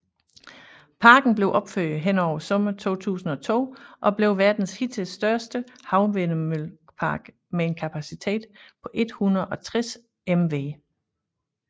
Parken blev opført hen over sommeren 2002 og blev verdens hidtil største havvindmøllepark med en kapacitet på 160 MW